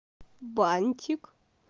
бантик